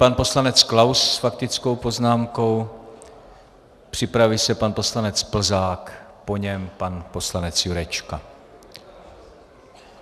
Pan poslanec Klaus s faktickou poznámkou, připraví se pan poslanec Plzák, po něm pan poslanec Jurečka.